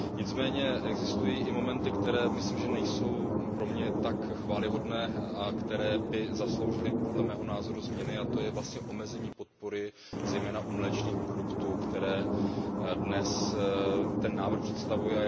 Nicméně existují i momenty, které myslím, že nejsou pro mě tak chvályhodné, a které by zasloužily podle mého názoru změny, a to je vlastně omezení podpory zejména u mléčných produktů, které dnes ten návrh představuje.